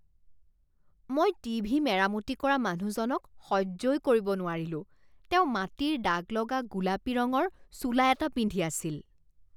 মই টিভি মেৰামতি কৰা মানুহজনক সহ্যই কৰিব নোৱাৰিলোঁ। তেওঁ মাটিৰ দাগ লগা গোলাপী ৰঙৰ চোলা এটা পিন্ধি আছিল।